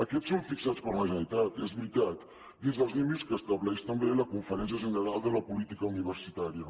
aquests són fixats per la generalitat és veritat dins dels límits que estableix també la conferència general de política universitària